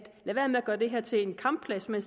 gøre det her til en kampplads men